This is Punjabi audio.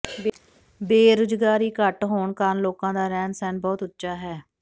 ਬੇਰੋਜ਼ਗਾਰੀ ਘੱਟ ਹੋਣ ਕਾਰਨ ਲੋਕਾਂ ਦਾ ਰਹਿਣ ਸਹਿਣ ਬਹੁਤ ਉੱਚਾ ਹੈ